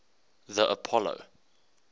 the apollo